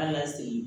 An ka sigi